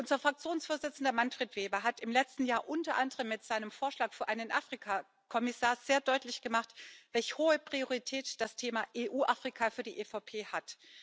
Unser Fraktionsvorsitzender, Manfred Weber, hat im letzten Jahr unter anderem mit seinem Vorschlag für einen Afrika Kommissar sehr deutlich gemacht, welch hohe Priorität das Thema EU Afrika für die EVP hat.